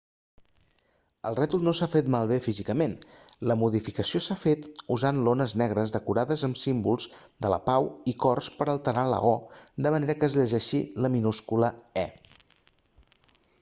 el rètol no s'ha fet malbé físicament la modificació s'ha fet usant lones negres decorades amb símbols de pau i cors per a alterar la o de manera que es llegeixi la minúscula e